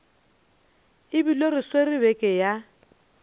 ebile re swere beke ya